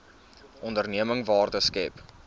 onderneming waarde skep